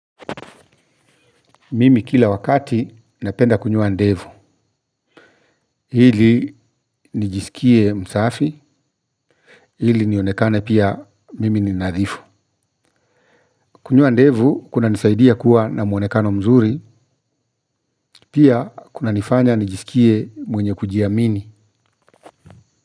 Mimi kila wakati, napenda kunyoa ndevu. Ili nijisikie msafi, ili nionekane pia mimi ni nadhifu. Kunyoa ndevu, kunanisaidia kuwa na mwonekano mzuri. Pia kunanifanya nijisikie mwenye kujiamini.